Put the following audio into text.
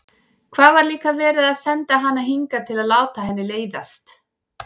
Hvað var líka verið að senda hana hingað til að láta henni leiðast?